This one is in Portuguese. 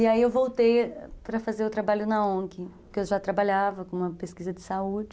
E aí eu voltei para fazer o trabalho na ongui, porque eu já trabalhava com uma pesquisa de saúde.